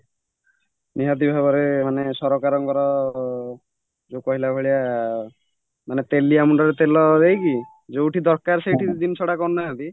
ନିହାତି ଭାବରେ ମାନେ ସରକାରଙ୍କର ଯୋଉ କହିଲାଭଳିଆ ମାନେ ତେଲିଆ ମୁଣ୍ଡରେ ତେଲ ଦେଇକି ଯୋଉଠି ଦରକାର ସେଇଠି ଜିନିଷ କରୁନାହାନ୍ତି